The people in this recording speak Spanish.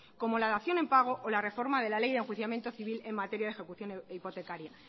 como la dación en pago o la reforma de la ley de enjuiciamiento civil en materia de ejecución hipotecaria